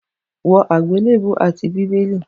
Wọ àgbélébùú àti bíbélì!